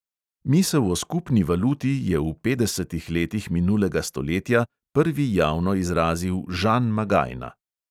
Misel o skupni valuti je v petdesetih letih minulega stoletja prvi javno izrazil žan magajna.